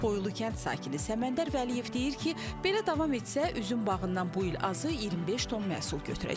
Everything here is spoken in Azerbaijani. Poylu kənd sakini Səməndər Vəliyev deyir ki, belə davam etsə, üzüm bağından bu il azı 25 ton məhsul götürəcək.